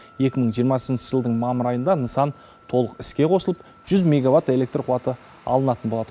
екі мың жиырмасыншы жылдың мамыр айында нысан толық іске қосылып жүз меговатт электр қуаты алынатын болады